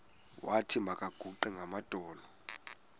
wathi makaguqe ngamadolo